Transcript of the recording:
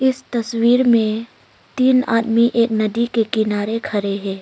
इस तस्वीर में तीन आदमी एक नदी के किनारे खरे है।